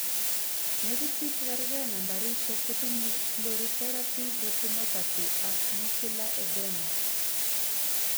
Negit bik chegergei nambarishek kotinye proliferative retinopathy ak macular edema